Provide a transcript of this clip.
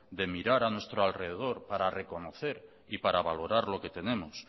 de mirar a nuestro alrededor para reconocer y para valorar lo que tenemos